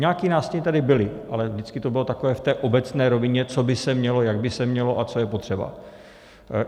Nějaké nástiny tady byly, ale vždycky to bylo takové v té obecné rovině, co by se mělo, jak by se mělo a co je potřeba.